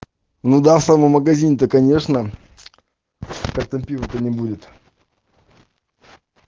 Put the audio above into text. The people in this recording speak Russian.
ну да в самом магазин то конечно как там пива то не будет